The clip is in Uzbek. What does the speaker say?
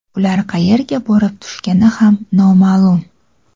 Ular qayerga borib tushgani ham noma’lum.